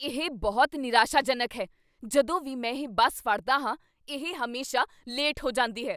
ਇਹ ਬਹੁਤ ਨਿਰਾਸ਼ਾਜਨਕ ਹੈ! ਜਦੋਂ ਵੀ ਮੈਂ ਇਹ ਬੱਸ ਫੜਦਾ ਹਾਂ, ਇਹ ਹਮੇਸ਼ਾ ਲੇਟ ਹੋ ਜਾਂਦੀ ਹੈ।